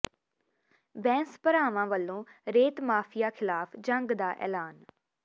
ਬੈਂਸ ਭਰਾਵਾਂ ਵਲੋਂ ਰੇਤ ਮਾਫੀਆ ਖਿਲਾਫ ਜੰਗ ਦਾ ਐਲਾਨ